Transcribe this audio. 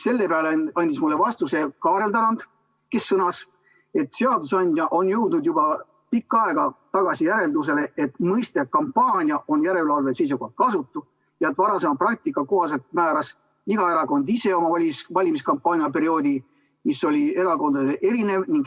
Selle peale andis mulle vastuse Kaarel Tarand, kes sõnas, et seadusandja on jõudnud juba pikka aega tagasi järeldusele, et mõiste "kampaania" on järelevalve seisukohtalt kasutu ja et varasema praktika kohaselt määras iga erakond ise oma valimiskampaania perioodi, mis oli erakondadel erinev.